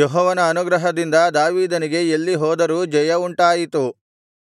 ಯೆಹೋವನ ಅನುಗ್ರಹದಿಂದ ದಾವೀದನಿಗೆ ಎಲ್ಲಿ ಹೋದರೂ ಜಯವುಂಟಾಯಿತು